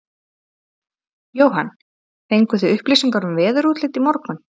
Jóhann: Fenguð þið upplýsingar um veðurútlit í morgun?